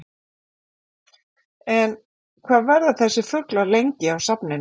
En, hvað verða þessir fuglar lengi á safninu?